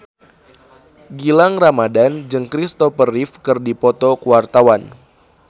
Gilang Ramadan jeung Kristopher Reeve keur dipoto ku wartawan